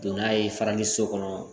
Don n'a ye farali so kɔnɔ